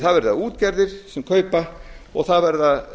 það verða útgerðir sem kaupa og það verða